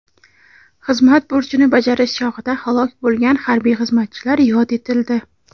xizmat burchini bajarish chog‘ida halok bo‘lgan harbiy xizmatchilar yod etildi.